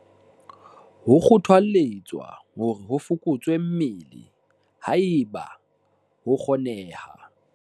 "Ho kgothalletswa hore ho fokotswe mmele, haeba ho kgoneha."